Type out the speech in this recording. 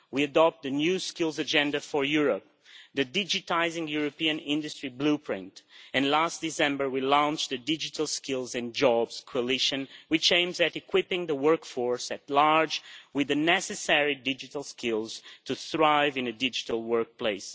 We adopted a New Skills Agenda for Europe, the Digitising European Industry blueprint and, last December, we launched a Digital Skills and Jobs Coalition, which aims at equipping the workforce at large with the necessary digital skills to thrive in a digital workplace.